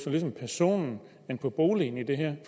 ligesom personen end på boligen i det her